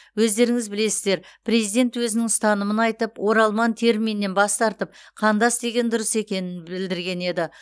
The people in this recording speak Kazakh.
өздеріңіз білесіздер президент өзінің ұстанымын айтып оралман терминінен бас тартып қандас деген дұрыс екенін білдірген еді